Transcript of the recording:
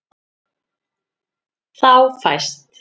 Þá fæst